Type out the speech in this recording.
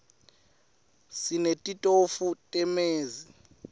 sinetitofu tamezi